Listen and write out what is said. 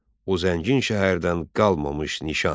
O zəngin şəhərdən qalmamış nişan.